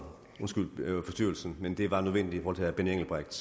men det var nødvendigt for at herre benny engelbrecht